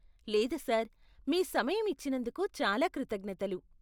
లేదు సార్. మీ సమయం ఇచ్చినందుకు చాలా కృతజ్ఞతలు.